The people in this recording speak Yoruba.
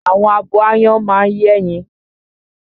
Àwọn abo áyán máa ń yẹ́yin